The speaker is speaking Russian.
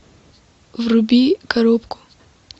вруби коробку